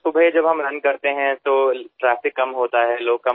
सकाळी जेव्हा आम्ही धावायला जातो तेव्हा रहदारी कमी असते लोक कमी असतात